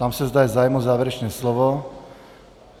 Ptám se, zda je zájem o závěrečné slovo.